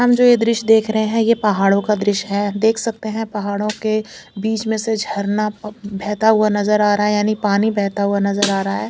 हम जो दृश्य देख रहे हैं ये पहाड़ो का दृश्य हैं देख सकते है पहाड़ो के बिच में से झरना बहत ा हुआ नजर आ रहा यानि पानी बहत ा हुआ नजर आ रा हैं।